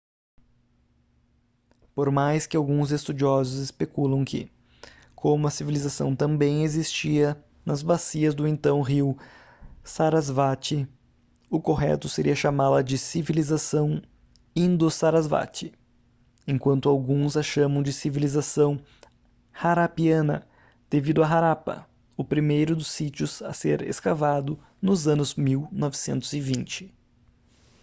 por mais que alguns estudiosos especulam que como a civilização também existia nas bacias do então rio sarasvati o correto seria chamá-la de civilização indo-sarasvati enquanto alguns a chamam de civilização harappiana devido a harappa o primeiro dos sítios a ser escavado nos anos 1920